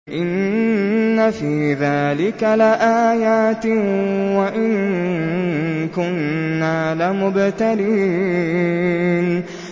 إِنَّ فِي ذَٰلِكَ لَآيَاتٍ وَإِن كُنَّا لَمُبْتَلِينَ